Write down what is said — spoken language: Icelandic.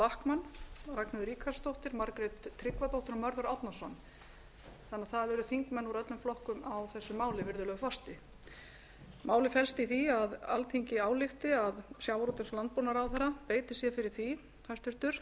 ragnheiður ríkharðsdóttir margrét tryggvadóttir og mörður árnason þannig að það eru þingmenn úr öllum flokkum á þessu máli virðulegi forseti málið felst í því að alþingi álykti að hæstvirtur sjávarútvegs og landbúnaðarráðherra beiti sér fyrir því